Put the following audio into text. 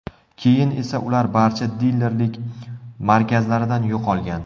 Keyin esa ular barcha dilerlik markazlaridan yo‘qolgan.